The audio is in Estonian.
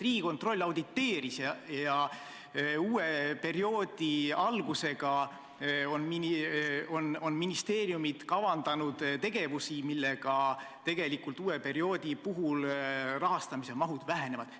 Riigikontroll auditeeris olukorda ja uue perioodi alguseks on ministeeriumid kavandanud tegevusi, mille tõttu tegelikult uue perioodi puhul rahastamise mahud vähenevad.